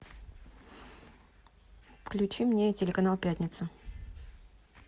включи мне телеканал пятница